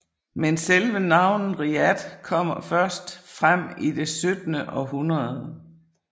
Men selve navnet Riyadh kommer første frem i det 17 århundrede